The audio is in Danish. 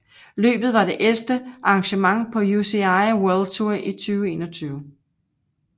Løbet var det ellevte arrangement på UCI World Tour 2021